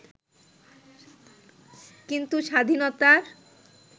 কিন্তু স্বাধীনতার